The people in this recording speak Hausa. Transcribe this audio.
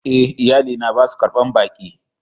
E,iyali na ba su ƙarban ɓaki.